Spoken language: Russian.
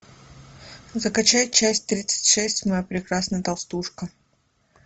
закачай часть тридцать шесть моя прекрасная толстушка